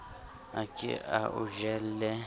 a ke a o jelle